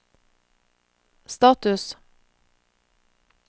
status